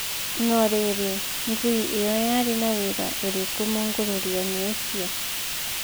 No rĩrĩ, Ngui ĩno yarĩ na wĩra ũrĩkũ mũngũrũrio-inĩ ũcio?